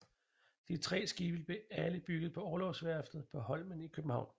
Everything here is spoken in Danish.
De tre skibe blev alle bygget på Orlogsværftet på Holmen i København